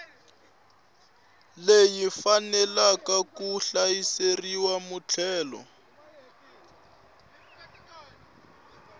leyi faneleke ku hakerisiwa muthelo